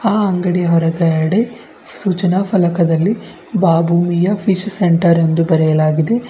ಆ ಅಂಗಡಿಯ ಹೊರಗಡೆ ಸೂಚನಾ ಫಲಕದಲ್ಲಿ ಬಾಬು ಮಿಯಾನ್ ಫಿಶ್ ಸೆಂಟರ್ ಎಂದು ಬರೆಯಲಾಗಿದೆ.